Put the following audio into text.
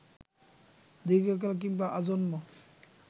দীর্ঘকাল কিংবা আজন্ম